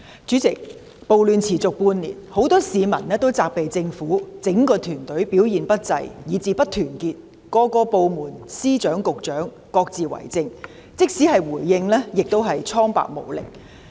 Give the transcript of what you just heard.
主席，暴亂持續半年，很多市民皆責備政府整個團隊表現不濟及不團結，各部門和司局長皆各自為政，連回應亦蒼白無力。